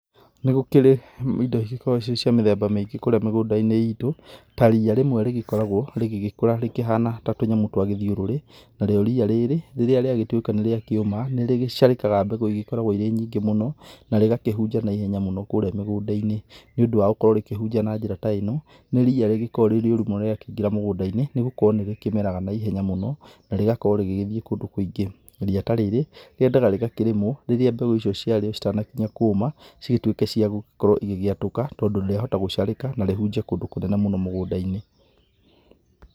Nĩ gũkĩrĩ indo igĩkoragwo cirĩ cia mĩthemba mĩingĩ kũrĩa mĩgũnda-inĩ itũ, ta ria rĩmwe rĩkoragwo rĩgĩkũra rĩkĩhana ta tũnyamũ twa gĩthĩũrũrĩ, na rĩo ria rĩrĩa rĩagĩtuĩka nĩ rĩakĩũma nĩrĩgĩcarĩkaga mbegũ igĩkorwa irĩ nyingĩ mũno, na rĩgakĩhunja na ihenya mũno kũrĩa mĩgũnda-inĩ, nĩ ũndũ wa gũkorwo rĩkĩhunja na njĩra ta ĩno, nĩ ria rĩkoragwo rĩũru mũno rĩa ingĩra mũgũnda-inĩ nĩ gũkorwo nĩ rĩkĩmeraga na ihenya mũno na rĩgakorwo rĩgĩthiĩ kũndũ kũingĩ, ria ta rĩrĩ rĩendaga rĩgakĩrĩmwo rĩrĩa mbegũ icio ciarĩo citanakinya kũma cigĩtuĩke cigĩtuĩke cia gũgĩkorwo igĩatũka, tondũ rĩa hota gũcarĩka, na rĩhunje kũndũ kũnene mũno mũgũnda-inĩ.